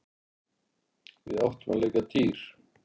Við áttum að leika dýr.